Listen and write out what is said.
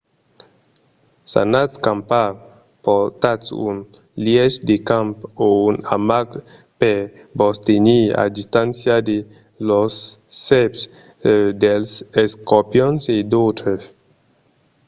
s'anatz campar portatz un lièch de camp o un amac per vos tenir a distància de las sèrps dels escorpions e d'autres